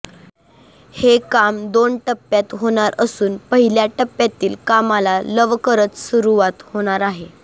हे काम दोन टप्प्यात होणार असून पहिल्या टप्प्यातील कामाला लवकरच सुरवात होणार आहे